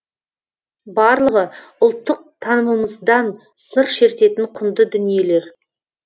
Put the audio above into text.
барлығы ұлттық танымымыздан сыр шертетін құнды дүниелер